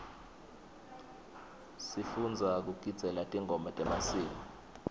sifundza kugidzela tingoma temasiko